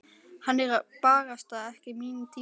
Hann er barasta ekki mín týpa.